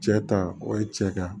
Cɛ ta o ye cɛ kan